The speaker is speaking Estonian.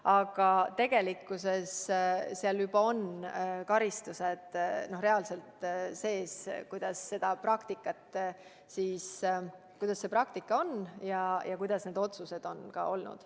Aga tegelikkuses seal juba on karistused reaalselt sees, nii kuidas see praktika on ja kuidas ka need otsused on olnud.